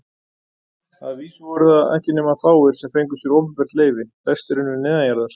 Að vísu voru það ekki nema fáir, sem fengu sér opinbert leyfi, flestir unnu neðanjarðar.